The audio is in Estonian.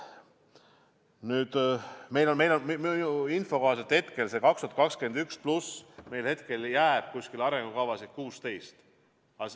Nüüd, minu info kohaselt pärast aastat 2021 ja pluss veel mõned meil jääb arengukavasid 16.